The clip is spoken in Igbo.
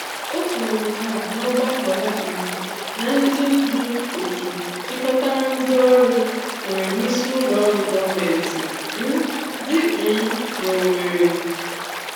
Ó kwúrú nke a n'ọ́gbákọ́ ya um na ndị́ ndú otu jikọtara ndị ọrụ nwere n'ísị́ Ụlọ́ Ọrụ́ Gọọmenti um dị um n'Ọwèrị.